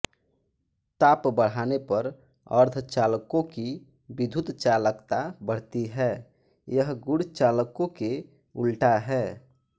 ताप बढ़ाने पर अर्धचालकों की विद्युत चालकता बढ़ती है यह गुण चालकों के उल्टा है